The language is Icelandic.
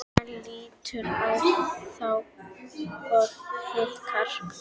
Hann lítur á þá og hikar.